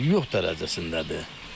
Yox dərəcəsindədir.